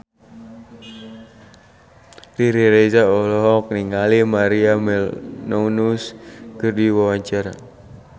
Riri Reza olohok ningali Maria Menounos keur diwawancara